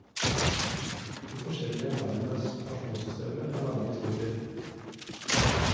De forskjellige landenes pensjonssystemer har lange historier.